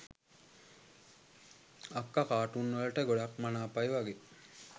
අක්කා කා‍ටුන් වලට ගොඩක් මනාපයි වගෙ